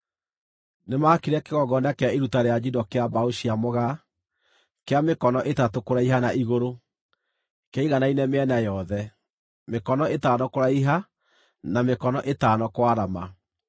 Nĩmakire kĩgongona kĩa iruta rĩa njino kĩa mbaũ cia mũgaa, kĩa mĩkono ĩtatũ kũraiha na igũrũ; kĩaiganaine mĩena yothe; mĩkono ĩtano kũraiha na mĩkono ĩtano kwarama.